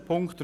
Bezüglich